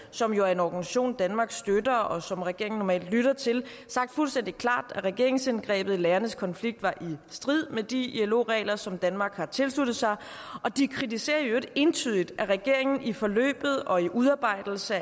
som jo er en organisation danmark støtter og som regeringen normalt lytter til sagt fuldstændig klart at regeringsindgrebet i lærernes konflikt var i strid med de ilo regler som danmark har tilsluttet sig og de kritiserer i øvrigt entydigt at regeringen i forløbet og i udarbejdelsen